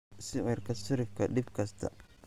sicirka sarrifka dhib kasta